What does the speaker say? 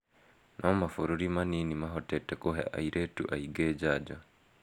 No mabũrũri manini mahotete kũhe airĩtu aingĩ njanjo